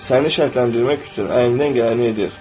Səni şərtləndirmək üçün əlindən gələni edir.